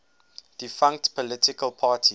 defunct political parties